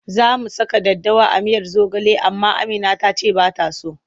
Za mu saka daddawa a miyar zogale amma Amina ta ce ba ta so.